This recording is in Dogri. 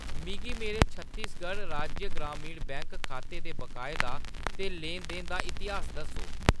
मिगी मेरे छत्तीसगढ़ राज्य ग्रामीण बैंक खाते दे बकाए दा ते लैन-देन दा इतिहास दस्सो।